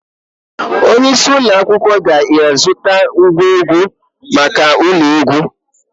Onye isi ụlọ akwụkwọ ga-azụta ngwa egwu maka ụlọ egwu.